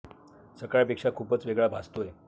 सकाळच्यापेक्षा खुपच वेगळा भासतोय.